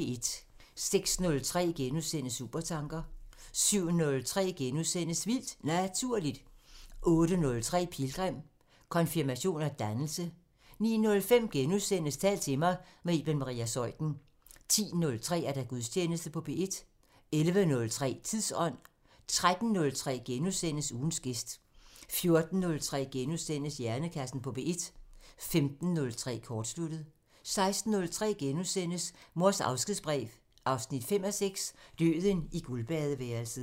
06:03: Supertanker * 07:03: Vildt Naturligt * 08:03: Pilgrim – Konfirmation og dannelse 09:05: Tal til mig – med Iben Maria Zeuthen * 10:03: Gudstjeneste på P1 11:03: Tidsånd 13:03: Ugens gæst * 14:03: Hjernekassen på P1 * 15:03: Kortsluttet 16:03: Mors afskedsbrev 5:6 – Døden i guldbadeværelset *